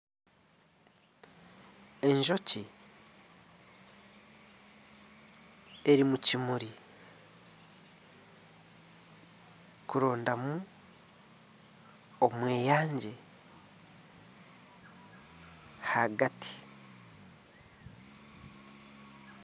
Enjoki eri omu kimuri kurondamu omweyangye ahagati.